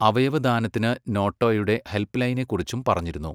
അവയവദാനത്തിന് നോട്ടോയുടെ ഹെല്പ്പ്ലൈനിനെക്കുറിച്ചും പറഞ്ഞിരുന്നു.